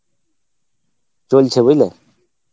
চলছে বুজলে